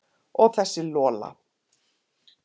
Og þessa Lola.